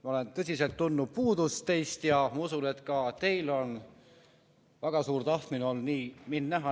Ma olen tõsiselt teist puudust tundnud ja usun, et ka teil on olnud väga suur tahtmine mind näha.